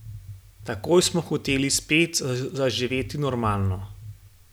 Takoj smo hoteli spet zaživeti normalno.